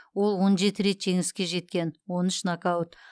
ол он жеті рет жеңіске жеткен он үш нокаут